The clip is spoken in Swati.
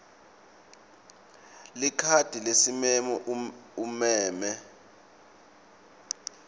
likhadi lesimemo umeme